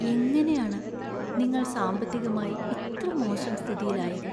എങ്ങനെയാണ് നിങ്ങള്‍ സാമ്പത്തികമായി ഇത്ര മോശം സ്ഥിതിയിലായത്?